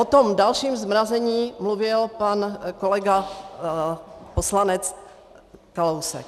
O tom dalším zmrazení mluvil pan kolega poslanec Kalousek.